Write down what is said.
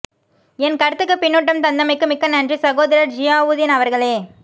என் கருத்துக்கு பின்னூட்டம் தந்தமைக்கு மிக்க நன்றி சகோதரர் ஜியாவுதீன் அவர்களே